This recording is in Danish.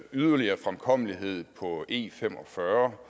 yderligere fremkommelighed på e45